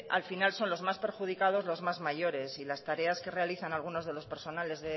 al final son los más perjudicados los más mayores y las tareas que realizan algunos